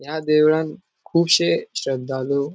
या देवळान कूबशे श्रद्धालु ----